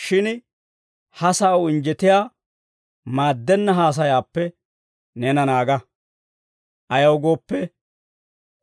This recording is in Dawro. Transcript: Shin ha sa'aw injjetiyaa maaddenna haasayaappe neena naaga. Ayaw gooppe,